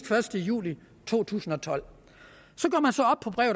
første juli to tusind og tolv